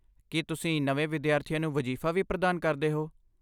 ਕੀ ਤੁਸੀਂ ਨਵੇਂ ਵਿਦਿਆਰਥੀਆਂ ਨੂੰ ਵਜ਼ੀਫ਼ਾ ਵੀ ਪ੍ਰਦਾਨ ਕਰਦੇ ਹੋ?